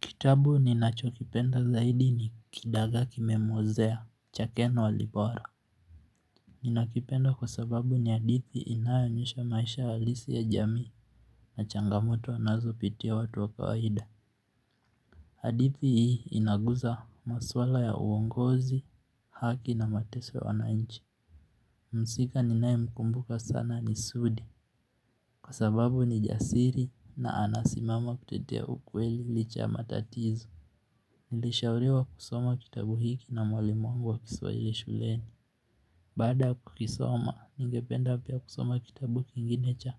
Kitabu ninacho kipenda zaidi ni kidagaa kimemwozea cha ken walibora. Nina kipenda kwa sababu ni hadithi inayo onyusha maisha halisi ya jamii na changamoto wanazo pitia watu wa kawaida. Hadithi hii inaguza maswala ya uongozi, haki na mateso ya wananchi. Msika ninaye mkumbuka sana ni sudi kwa sababu ni jasiri na anasimama kutetea ukweli licha ya matatizu. Nilishauriwa kusoma kitabu hiki na mwalimu wangu wa kiswahili shuleni. Baada ya kukisoma, ningependa pia kusoma kitabu kingine cha